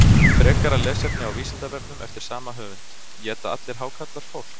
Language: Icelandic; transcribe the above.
Frekara lesefni á Vísindavefnum eftir sama höfund: Éta allir hákarlar fólk?